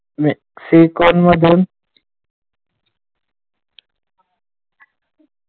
मेक्सिकोमधून,